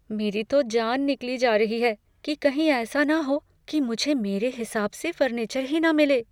मेरी तो जान निकली जा रही है कि कहीं ऐसा ना हो कि मुझे मेरे हिसाब से फर्नीचर ही ना मिले।